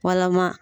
Walama